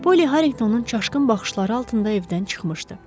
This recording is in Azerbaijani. Poly Harinqtonun çaşqın baxışları altında evdən çıxmışdı.